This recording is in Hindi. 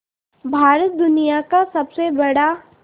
भारत दुनिया का सबसे बड़ा